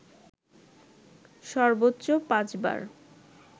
সর্বোচ্চ পাঁচবার